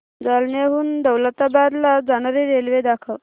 जालन्याहून दौलताबाद ला जाणारी रेल्वे दाखव